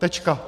Tečka.